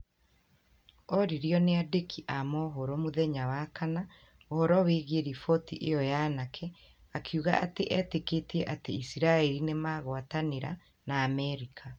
oririo nĩ andiki a mohoro mũthenya wa kana ũhoro wĩgiĩ riboti iyo ya nake akiuga atĩ etĩkĩtie atĩ isiraĩri nĩ maragwatanĩra na Amerika